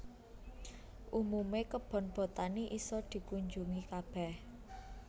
Umume kebon botani iso dikunjungi kabeh